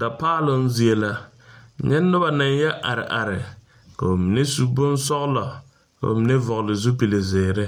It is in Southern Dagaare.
Dapaaloŋ zie la, nyɛ noba na yɔ are are kɔɔ mine su bonsɔgelɔ, kɔɔ mine vɔgeli zupili zeɛre